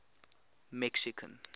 mexican